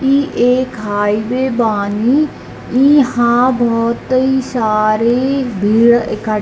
इ एक हाईवे बानी इहाँ बहुतेइ सारे भीड़ इकट --